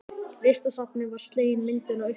Listasafninu var slegin myndin á uppboði.